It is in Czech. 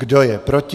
Kdo je proti?